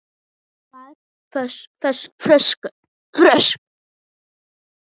tvær flöskur?